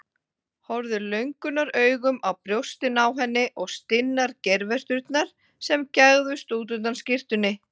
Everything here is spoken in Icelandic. Hann horfði löngunaraugum á brjóstin á henni og stinnar geirvörturnar sem gægðust út undan skyrtunni.